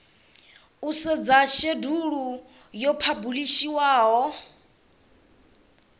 u sedza shedulu yo phabulishiwaho